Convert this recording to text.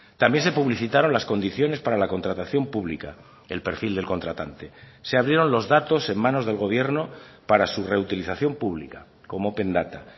también se publicitaron las condiciones para la contratación pública el perfil del contratante se abrieron los datos en manos del gobierno para su reutilización pública como open data